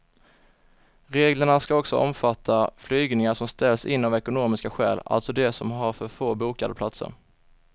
Reglerna ska också omfatta flygningar som ställs in av ekonomiska skäl, alltså de som har för få bokade platser.